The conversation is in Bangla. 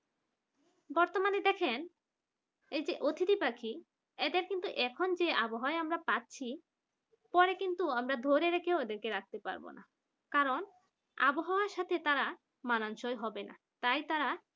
বর্তমানে দেখেন এই যে অতিথি পাখি এদের কিন্তু এখন যে আবহাওয়া পাচ্ছি পরে কিন্তু আমরা ধরে রেখেও ওদেরকে রাখতে পারব না কারণ আবহাওয়া সাথে তারা মানানসই হবে না তাই তারা